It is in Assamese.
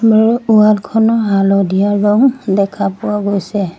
ঘৰৰ ৱাল খন হালধীয়া ৰং দেখা পোৱা গৈছে।